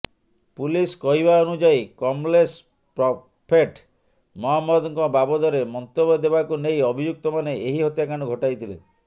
police କହିବା ଅନୁଯାୟୀ Kamlesh prophet ମହମ୍ମଦଙ୍କ ବାବଦରେ ମନ୍ତବ୍ୟ ଦେବାକୁ ନେଇ ଅଭିଯୁକ୍ତମାନେ ଏହି ହତ୍ୟାକାଣ୍ଡ ଘଟାଇଥିଲେ